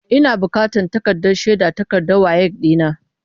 Ina bukatan takardar shaidar takardar WAEC ɗina.